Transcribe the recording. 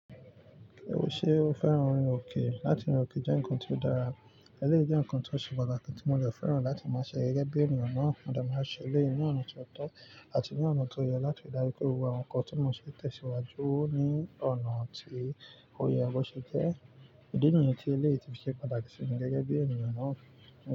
Ṣe ó fẹ́ràn orin òkè? Láti orin òkè jẹ́ nǹkan tí ó dára, ẹlẹ́yìí jẹ́ nǹkan tí ó se pataki, tí mo de fẹ́ràn láti máa ṣe gẹ́gẹ́ bí ènìyàn náà. Mo de maa n ṣe ẹlẹ́yìí ní ọ̀nà tó tọ́ àti ní ọ̀nà tó yẹ láti daríju pé gbogbo àwọn nǹkan tí mo ṣe tẹ̀síwájú ní ọ̀nà tí ó yẹ bo ṣe jẹ́. Ìdí nìyen tí ẹlẹ́yií ti ṣe pataki sí mi gẹ́gẹ́ bí ènìyàn náà.